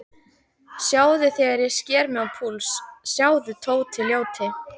Sjáðu þegar ég sker mig á púls, sjáðu, Tóti ljóti.